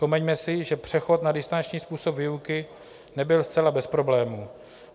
Vzpomeňme si, že přechod na distanční způsob výuky nebyl zcela bez problémů.